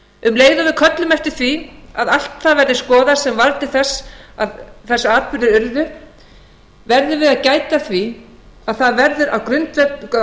um leið og við köllum eftir því að allt það verði skoðað sem varð til þess að þessir atburðir urðu verðum við að gæta að því að það verði á